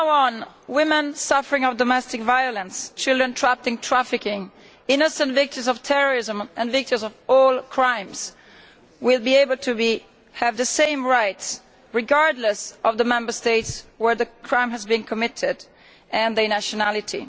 From now on, women suffering domestic violence, children trapped in trafficking, innocent victims of terrorism and victims of all crimes will be able to have the same rights, regardless of the Member State where the crime has been committed and their nationality.